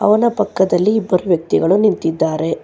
ಅವನ ಪಕ್ಕದಲ್ಲಿ ಇಬ್ಬರು ವ್ಯಕ್ತಿಗಳು ನಿಂತಿದ್ದಾರೆ.